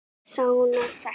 Manni sárnar þetta.